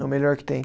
É o melhor que tem.